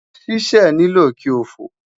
Sisẹ nilo ki o fo